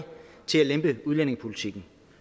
til at lempe udlændingepolitikken